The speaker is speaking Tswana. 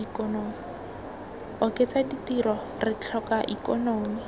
oketsa ditiro re tlhoka ikonomi